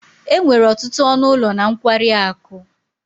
enwere ọtụtụ ọnụ ụlọ na nkwari akụ